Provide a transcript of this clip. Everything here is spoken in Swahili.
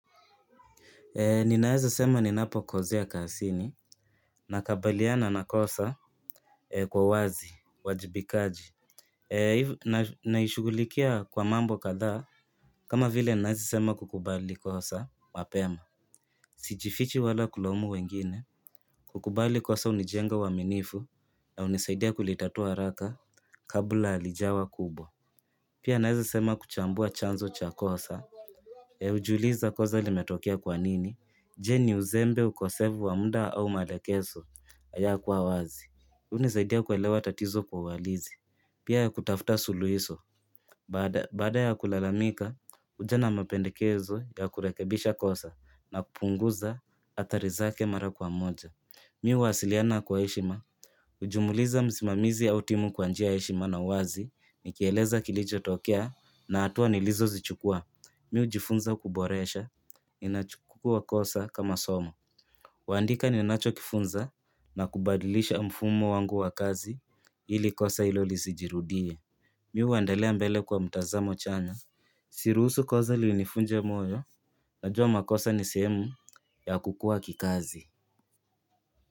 Ninaweza sema ninapo kozea kasini, nakabaliana na kosa kwa uwazi, uajibikaji. Naishughulikia kwa mambo kadhaa, kama vile naweza sema kukubali kosa mapema. Sijifichi wala kulaumu wengine, kukubali kosa hunijenga uaminifu, na hunisaidia kulitatua haraka, kabla halijawa kubwa. Pia naweza sema kuchambua chanzo cha kosa. Hujiuliza kosa limetokea kwa nini. Je, ni uzembe, ukosefu wa mda au malekeso, hayakuwa wazi. Hii hunisaidia kuelewa tatizo kwa uhalizi, pia ya kutafuta suluhiso. Baada ya kulalamika, huja na mapendekezo ya kurekebisha kosa na kupunguza athari zake mara kwa moja. Mi huwasiliana kwa heshima. Ujumuliza msimamizi au timu kwa njia ya heshima na wazi, nikieleza kilichotokea na hatua nilizozichukua. Mi hujifunza kuboresha. Ninachukua kosa kama somo. Huandika ninachokifunza, na kubadilisha mfumo wangu wa kazi ili kosa hilo lisijirudie. Mi huendelea mbele kwa mtazamo chanya. Siruhusu koza linifunje moyo. Najua makosa ni sehemu, ya kukua kikazi.